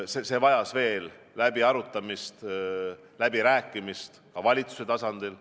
See vajas veel läbiarutamist, läbirääkimist ka valitsuse tasandil.